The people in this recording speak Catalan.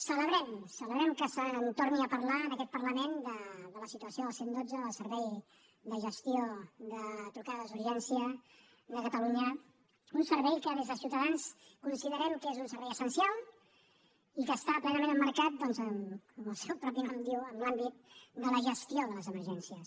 celebrem ho celebrem que se’n torni a parlar en aquest parlament de la situació del cent i dotze del servei de gestió de trucades d’urgència de catalunya un servei que des de ciutadans considerem que és un servei essencial i que està plenament emmarcat doncs com el seu propi nom diu en l’àmbit de la gestió de les emergències